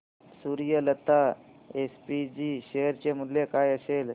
Suryalata SPG share चे मूल्य काय असेल